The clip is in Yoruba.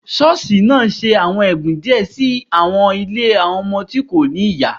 Ṣọọṣi naa ṣe awọn ẹbun diẹ si awọn ile awọn ọmọ ti ko ni iya